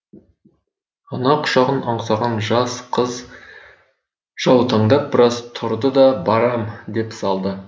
ана құшағын аңсаған жас қыз жаутаңдап біраз тұрды да барам деп салды